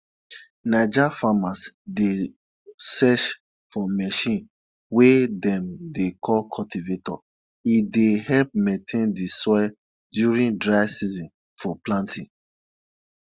naija farmers dey search for machine wey dem dey call cultivator e dey help maintain di soil during dry season for planting